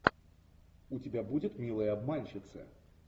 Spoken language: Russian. у тебя будет милые обманщицы